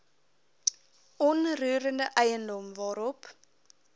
onroerende eiendom waarop